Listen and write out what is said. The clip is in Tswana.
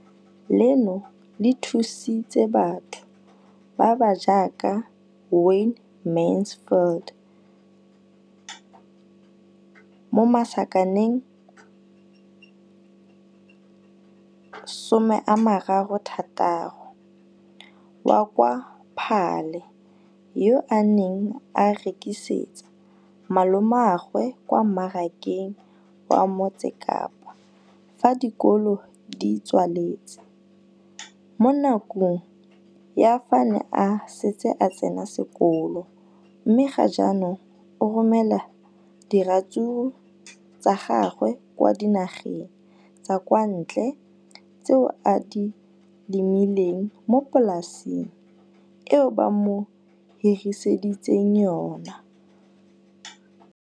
leno le thusitse batho ba ba jaaka Wayne Mansfield, 33, wa kwa Paarl, yo a neng a rekisetsa malomagwe kwa Marakeng wa Motsekapa fa dikolo di tswaletse, mo nakong ya fa a ne a santse a tsena sekolo, mme ga jaanong o romela diratsuru tsa gagwe kwa dinageng tsa kwa ntle tseo a di lemileng mo polaseng eo ba mo hiriseditseng yona.